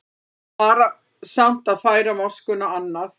Varasamt að færa moskuna annað